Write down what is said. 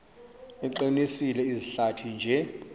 iqinise izihlathi nje